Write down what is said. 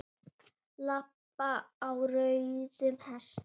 Lamb á rauðum hesti